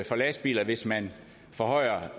for lastbiler hvis man forhøjer